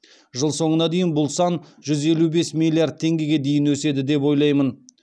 жыл соңына дейін бұл сан жүз елу бес миллиард теңгеге дейін өседі деп ойлаймын